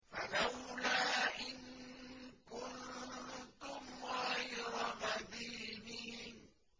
فَلَوْلَا إِن كُنتُمْ غَيْرَ مَدِينِينَ